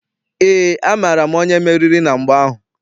Eé, amaara m onye meriri na mgba ahụ.